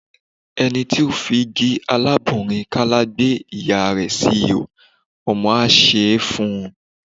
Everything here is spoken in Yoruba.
Ẹni ti ó fi igi alábùnrin-kàlà gbé ìyá rẹ̀ sí ìhó̀ ,ọmọ á san án fún un.